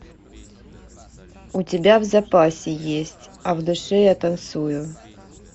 у тебя в запасе есть а в душе я танцую